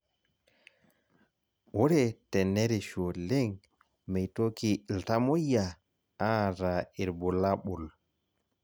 Ore tenerishu oleng meitoki iltamoyia aata irbulabol